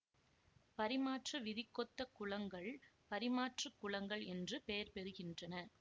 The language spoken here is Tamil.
பரிமாற்று விதிக்கொத்த குலங்கள் பரிமாற்றுக் குலங்கள் என்று பெயர் பெறுகின்றன